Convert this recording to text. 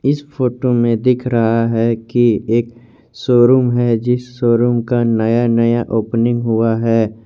इस फोटो में दिख रहा है कि एक शोरूम है जिस शोरूम का नया नया ओपनिंग हुआ है।